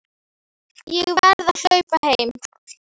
Ég verð að hlaupa heim.